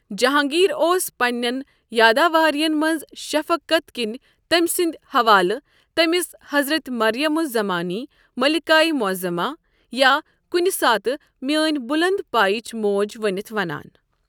جہانٛگیٖر اوس پنٛنٮ۪ن یاداوارین منز شفقت کِنہِ تٔمۍ سٕندِ حوالہٕ تٔمِس 'حضرت مریم الزَمانی'، 'ملكاے معظما' یا کُنہِ ساتہٕ 'میٛٲنۍ بٗلند پایِچ موج' ونِتھ ونان ۔